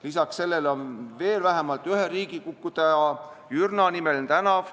Lisaks nendele on veel vähemalt ühe riigikukutaja, Jürna nimeline tänav.